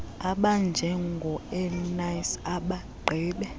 abanjengo eunice abagqibe